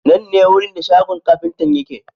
Nan ne wurin da shagon kafintan yake.